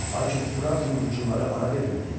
Lakin Urartunun hücumları ara vermirdi.